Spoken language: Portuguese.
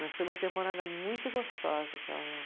Mas foi uma temporada muito gostosa aquela lá.